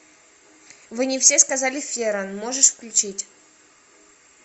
вы не все сказали ферран можешь включить